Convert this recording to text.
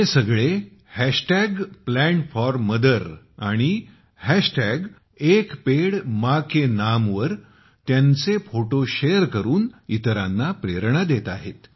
हे सगळे Plant4Mother आणि एक पेड़ मां के नाम वर त्यांचे फोटो शेअर करून इतरांना प्रेरणा देत आहे